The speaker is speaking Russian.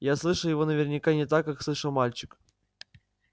я слышал его наверняка не так как слышал мальчик